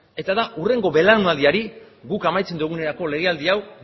eta da hurrengo belaunaldiari guk amaitzen dugunerako legealdi hau